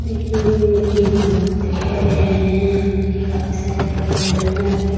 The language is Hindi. देखिये ये मीटिंग होल दिखाई दे रहा है | यहाँ पे देखिये काफी सारे लोग है । लडकियाँ लड़के --